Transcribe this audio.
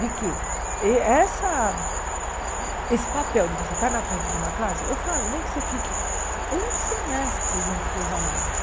De que eh essa esse papel de você estar na frente de uma classe, eu falo, nem que você fique um semestre junto com os alunos.